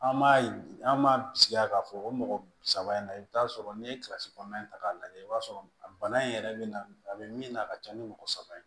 An m'a ye an m'a bisigi a ka fɔ o mɔgɔ saba in na i bi taa sɔrɔ n'i ye kɔnɔna in ta k'a lajɛ i b'a sɔrɔ bana in yɛrɛ be na a be min na a ka ca ni mɔgɔ saba ye